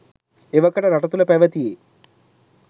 එවකට රට තුළ පැවැතියේ